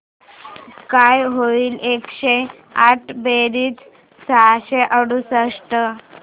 काय होईल एकशे आठ बेरीज सहाशे अडुसष्ट